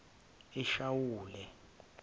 eshawule